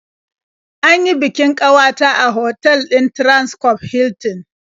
An yi bikin ƙawata a otal ɗin Transcorp Hilton.